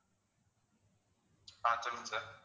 ஆஹ் சொல்லுங்க sir